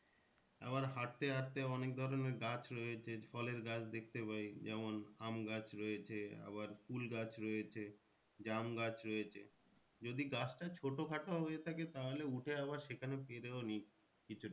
আবার হাঁটতে হাঁটতে অনেক ধরণের গাছ রয়েছে ফলের গাছ দেখতে পাই যেমন আম গাছ রয়েছে আবার কুল গাছ রয়েছে। জাম গাছ রয়েছে যদি গাছটা ছোটো খাটো হয়ে থাকে তাহলে উঠে আবার সেখানে পেরেও নিই কিছুটা